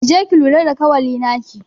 Ki je ki lura da kawali naki.